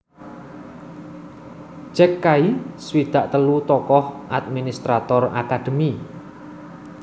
Jack Kay swidak telu tokoh administrator akadémi